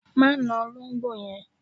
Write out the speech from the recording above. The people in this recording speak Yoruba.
Má na olóńgbò yẹn